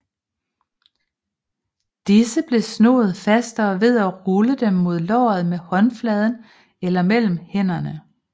Disse blev snoet fastere ved at rulle dem mod låret med håndfladen eller mellem hænderne